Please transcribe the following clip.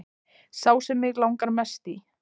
Sá sem mig langar mest í